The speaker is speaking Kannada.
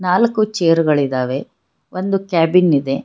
ನಾಲಕ್ಕು ಚೇರ್ಗಳಿದಾವೆ ಒಂದು ಕ್ಯಾಬಿನ್ ಇದೆ.